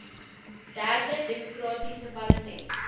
derde demokratiese parlement